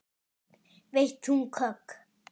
Veitt þung högg.